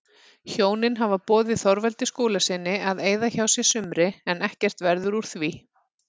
Hjónin hafa boðið Þorvaldi Skúlasyni að eyða hjá sér sumri en ekkert verður úr því.